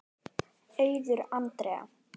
Auður Andrea.